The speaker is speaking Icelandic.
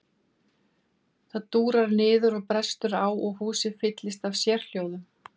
Það dúrar niður og brestur á og húsið fyllist af sérhljóðum.